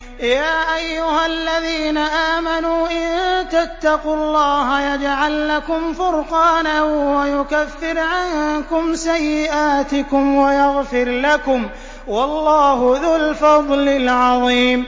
يَا أَيُّهَا الَّذِينَ آمَنُوا إِن تَتَّقُوا اللَّهَ يَجْعَل لَّكُمْ فُرْقَانًا وَيُكَفِّرْ عَنكُمْ سَيِّئَاتِكُمْ وَيَغْفِرْ لَكُمْ ۗ وَاللَّهُ ذُو الْفَضْلِ الْعَظِيمِ